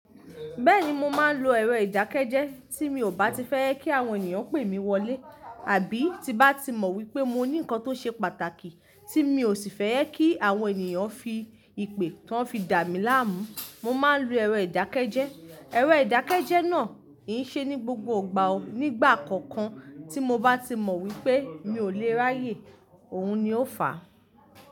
Bẹ́ẹ̀ni mo máa ń lo èrọ ìdákẹ́jẹ́ tí mi ò bá ti fẹ́ kí àwọn ènìyàn pè mí wọlé àbí tí bá ti mọ̀ wípé mo ní nǹkan tó ṣe pàtàkì tí mi ò sì fẹ́ jekí àwọn ènìyàn fi ìpè tán fi dà mí láàmú. Mo máa ń lo èrọ ìdákẹ́jẹ́. Ẹ̀rọ ìdákẹ́jẹ́ náà kì ṣe ní gbogbo ìgbà o, nígbà kọ̀ọ̀kan tí mo bá ti mọ̀ wípe mi ò lè ráyè òun ni ó fà.